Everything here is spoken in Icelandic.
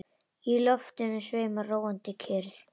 Í loftinu sveimar róandi kyrrð.